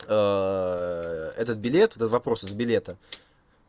этот билет этот вопрос из билета